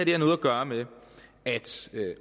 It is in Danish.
har noget at gøre med at